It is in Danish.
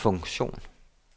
funktion